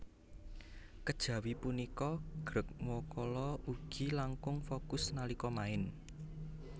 Kejawi punika Greg Nwokolo ugi langkung fokus nalika main